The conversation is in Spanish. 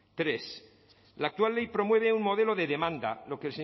tres la actual ley promueve un modelo de demanda lo que